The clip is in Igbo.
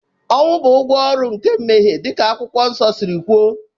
Ọnwụ bụ ụgwọ ọrụ nke mmehie, dịka Akwụkwọ Nsọ siri kwuo